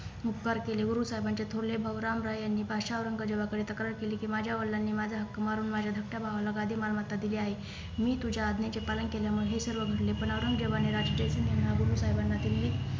उपकार केले गुरु साहेबाचे थोरले भाऊ राम राय यांनी बादशाह औरंगजेबाकडे तक्रार केली कि माझ्या वडलांनी माझे हक्क मारून माझ्या धाकट्या भावाला गादी मालमत्ता दिली आहे मी तुझ्या आज्ञेचे पालन केल्यामुळे हे सर्व घडले पण औरंगजेबाने साहेबांना दिल्ली